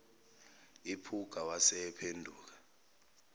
iphuka wase ephenduka